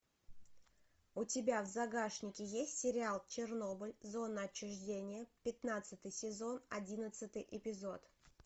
у тебя в загашнике есть сериал чернобыль зона отчуждения пятнадцатый сезон одиннадцатый эпизод